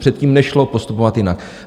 Předtím nešlo postupovat jinak.